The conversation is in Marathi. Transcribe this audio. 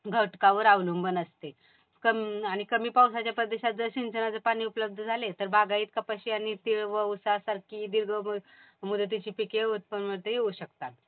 घटकांवर अवलंबून असते. आणि कमी पावसाच्या प्रदेशात जर सिंचनाचा पाणी उपलब्ध झाले तर बागायत कपाशी, तीळ व उसासारखी दीर्घ मुदतीची पिके उत्पन्न ते घेऊ शकतात.